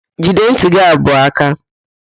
Jide ntị gị abụọ áká!